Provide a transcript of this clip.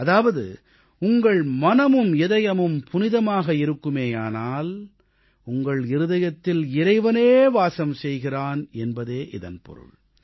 அதாவது உங்கள் மனமும் இதயமும் புனிதமாக இருக்குமேயானால் உங்கள் இதயத்தில் இறைவனே வாசம் செய்கிறான் என்பதே இதன் பொருள்